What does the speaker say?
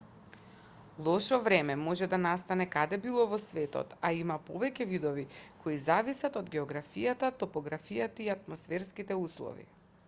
лошо време може да настане каде било во светот а има повеќе видови кои зависат од географијата топографијата и атмосферските услови